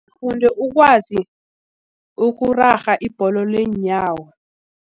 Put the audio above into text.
Ngifunde ukwazi ukurarha ibholo leenyawo.